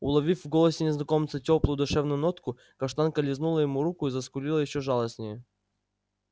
уловив в голосе незнакомца тёплую душевную нотку каштанка лизнула ему руку и заскулила ещё жалостнее